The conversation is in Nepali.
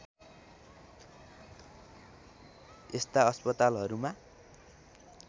यस्ता अस्पतालहरूमा